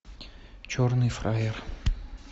черный фраер